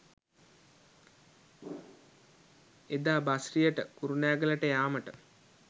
එදා බස්රියට කුරුණෑගලට යාමට